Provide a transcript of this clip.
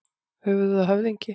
Höfuð og höfðingi.